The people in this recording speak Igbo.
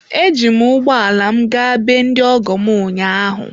Eji m ụgbọ ala m gaa be ndị ọgọ m ụnyaahụ.